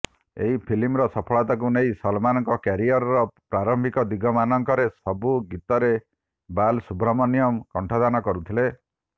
ଏହି ଫିଲ୍ମର ସଫଳତାକୁ ନେଇ ସଲମାନଙ୍କ କ୍ୟାରିୟରର ପ୍ରାରମ୍ଭିକ ଦିନମାନଙ୍କରେ ସବୁ ଗୀତରେ ବାଲାସୁବ୍ରମଣ୍ୟମ କଣ୍ଠଦାନ କରୁଥିଲେ